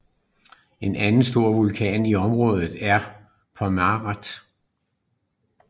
En anden stor vulkan i området er Pomerape